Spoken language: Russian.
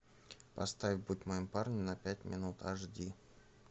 поставь будь моим парнем на пять минут аш ди